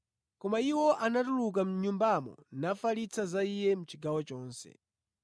Koma iwo anatuluka mʼnyumbamo nafalitsa za Iye mʼchigawo chonse.